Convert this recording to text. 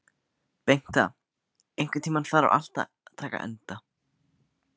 Bengta, einhvern tímann þarf allt að taka enda.